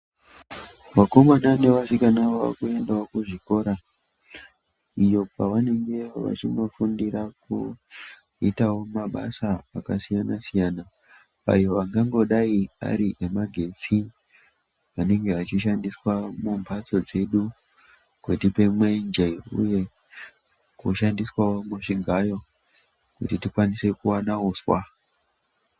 Vakomana nevasikana vakuendawo kuzvikora iyo kwavanenge vachindofundira kuitawo mabasa akasiyana siyana ayo akangodai ariemagetsi anenge achishandiswa mumbatso dzedu kutipe mwenje uye kushandiswawo kuchigayo kutipa uswa.